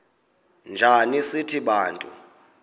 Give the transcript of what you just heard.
njana sithi bantu